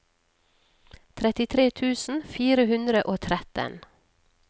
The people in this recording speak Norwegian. trettitre tusen fire hundre og tretten